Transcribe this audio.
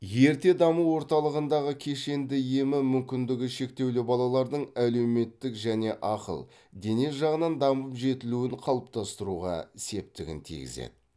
ерте даму орталығындағы кешенді емі мүмкіндігі шектеулі балалардың әлеуметтік және ақыл дене жағынан дамып жетілуін қалыптастыруға септігін тигізеді